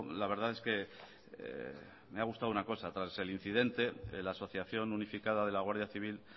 la verdad es que me ha gustado una cosa tras el incidente la asociación unificada de la guardia civil